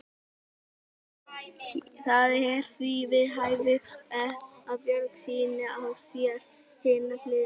Það er því við hæfi að Björg sýni á sér hina hliðina.